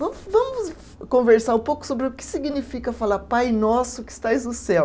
Vamos, vamos conversar um pouco sobre o que significa falar Pai Nosso que estás no céu.